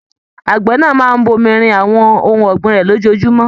Àgbẹ̀ náà máa n bomirin àwọn ohùn ọ̀gbìn rẹ lójoojúmọ́.